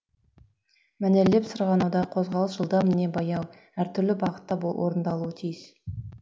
мәнерлеп сырғанауда қозғалыс жылдам не баяу әр түрлі бағытта орындалуы тиіс